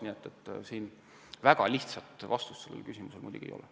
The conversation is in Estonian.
Nii et väga lihtsat vastust sellele küsimusele ei ole.